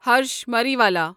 Harsh Mariwala